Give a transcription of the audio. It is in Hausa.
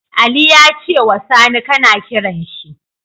Ali yace wa Sani kAna kiranshi